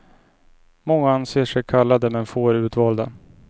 Många anser sig kallade men få är utvalda.